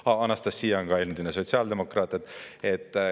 Ahjaa, Anastassia on ka endine sotsiaaldemokraat.